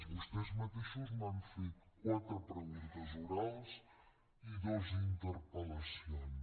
vostès mateixos m’han fet quatre preguntes orals i dues interpel·lacions